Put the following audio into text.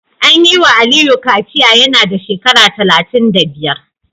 An yi wa Aliyu kaciya yana da shekara talatin da biyar